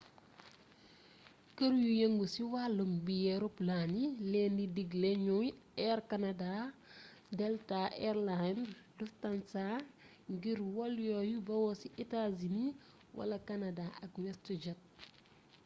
kër yu yëngu xi wàllum biyee roplaan yi leen di digle ñoy air canada delta air lines lufthansa ngir wol yuy bawoo ci etaa-sini wala kanadaa ak westjet